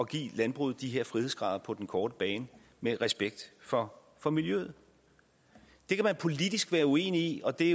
give landbruget de her frihedsgrader på den korte bane med respekt for for miljøet det kan man politisk være uenig i og det